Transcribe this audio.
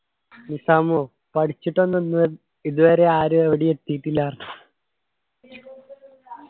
നിസാമു പഠിച്ചിട്ട് ഒന്നും ഒന്നും ഇതുവരെ ആരും എവിടെയും എത്തീട്ടില്ല പറഞ്ഞു